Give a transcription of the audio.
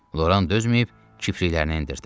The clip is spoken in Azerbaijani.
Loran dözməyib kipriklərini endirdi.